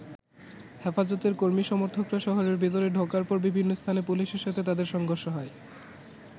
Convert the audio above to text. হেফাজতের কর্মী-সমর্থকরা শহরের ভেতরে ঢোকার পর বিভিন্ন স্থানে পুলিশের সাথে তাদের সংঘর্ষ হয়।